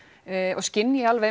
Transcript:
og skynji alveg